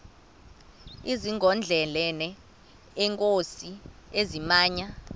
zigondelene neenkosi ezimnyama